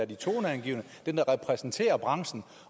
de toneangivende dem der repræsenterer branchen